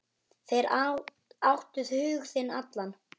Þeir áttu hug þinn allan.